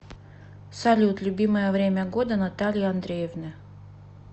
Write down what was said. салют любимое время года натальи андреевны